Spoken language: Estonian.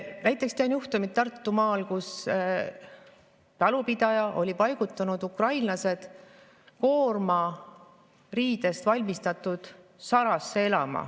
Näiteks tean juhtumit Tartumaalt, kus talupidaja oli paigutanud ukrainlased koormariidest valmistatud sarasse elama.